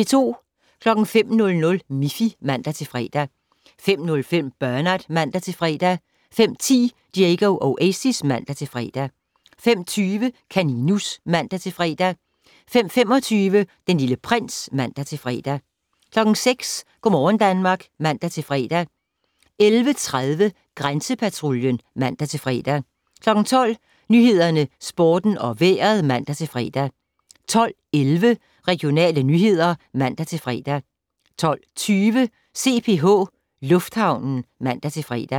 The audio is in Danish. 05:00: Miffy (man-fre) 05:05: Bernard (man-fre) 05:10: Diego Oasis (man-fre) 05:20: Kaninus (man-fre) 05:25: Den Lille Prins (man-fre) 06:00: Go' morgen Danmark (man-fre) 11:30: Grænsepatruljen (man-fre) 12:00: Nyhederne, Sporten og Vejret (man-fre) 12:11: Regionale nyheder (man-fre) 12:20: CPH Lufthavnen (man-fre)